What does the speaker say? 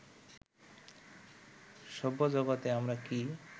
সভ্যজগতে আমরা কি